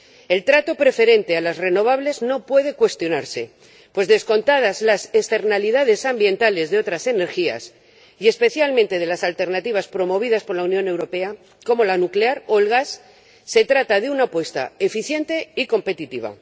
El trato preferente a las renovables no puede cuestionarse, pues descontadas las externalidades ambientales de otras energías —y especialmente de las alternativas promovidas por la Unión Europea como la nuclear o el gas—, se trata de una apuesta eficiente y competitiva.